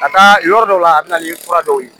Ka taa yɔrɔ dɔw la a bɛ na ni fura dɔw ye